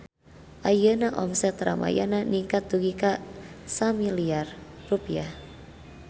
Ayeuna omset Ramayana ningkat dugi ka 1 miliar rupiah